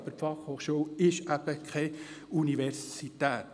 Die Fachhochschule ist eben keine Universität.